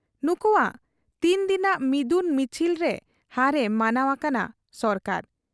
ᱱᱩᱠᱩᱣᱟᱜ ᱛᱤᱱ ᱫᱤᱱᱟᱜ ᱢᱤᱫᱩᱱ ᱢᱤᱪᱷᱤᱞᱨᱮ ᱦᱟᱨ ᱮ ᱢᱟᱱᱟᱣ ᱟᱠᱟᱱᱟ ᱥᱟᱨᱠᱟᱨ ᱾